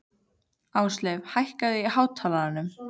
Ásleif, hækkaðu í hátalaranum.